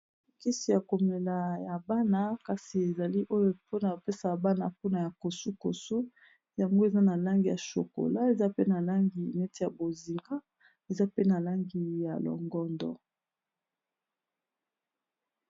mokisi ya komela ya bana kasi ezali oyo mpona kopesaa bana mpona ya kosu-kosu yango eza na langi ya shokola eza pe na langi neti ya bozinga eza pe na langi ya longondo